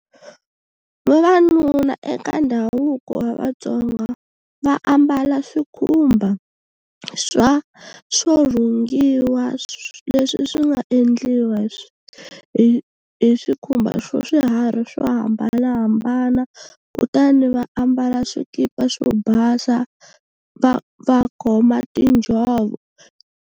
Vavanuna eka ndhavuko wa Vatsonga va ambala swikhumba swa swo rhungiwa leswi swi nga endliwa hi hi swikhumba swo swiharhi swo hambanahambana kutani va ambala swikipa swo basa va va khoma tinjhovo.